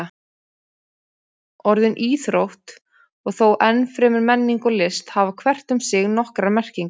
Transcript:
Orðin íþrótt og þó enn fremur menning og list hafa hvert um sig nokkrar merkingar.